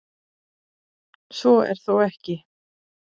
Svo er þó ekki.